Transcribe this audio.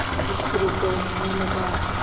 समुद्र गरजने लगा